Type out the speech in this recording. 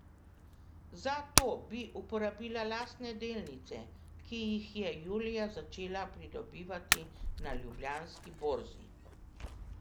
Za to bi uporabila lastne delnice, ki jih je julija začela pridobivati na ljubljanski borzi.